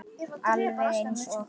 Alveg eins og